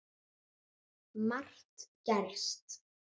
Margt gerst.